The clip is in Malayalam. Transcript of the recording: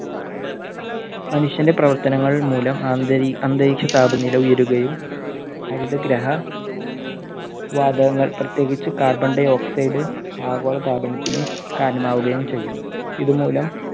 മനുഷ്യന്റെ പ്രവർത്തനങ്ങൾ മൂലം അന്തരീ~അന്തരീക്ഷ താപനില ഉയരുകയും. ഹരിതഗ്രഹ വാതകങ്ങൾ പ്രത്യേകിച്ച് carbon dioxide ആഗോള താപനത്തിന് കാരണമാവുകയും ചെയ്യും. ഇതുമൂലം